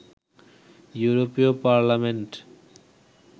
ইউরোপীয় পার্লামেন্ট